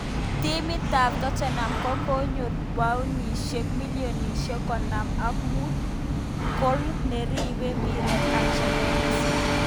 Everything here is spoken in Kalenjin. Timit ab Tottenham kocheru paunishek milionishek konom ak mut koal neribei mpiret Ajax Dvinson Sanchez.